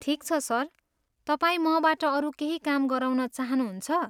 ठिक छ सर, तपाईँ मबाट अरू केही काम गराउन चाहनुहुन्छ?